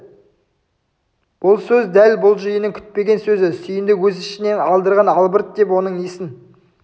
бұл сөз дәл бұл жиынның күтпеген сөзі сүйіндік өз ішінен алдырған албырт деп оның несін